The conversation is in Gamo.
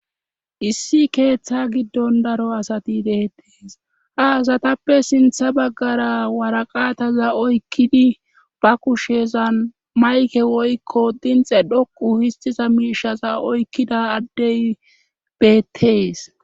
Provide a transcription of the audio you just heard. Issi keeththa giddon daro asati deettees ha asatappe sintha baggara waraqataza oykkidi ba kushezan mayke woykko dinxe dhoqu histiza miishaza oykkida addey beettees.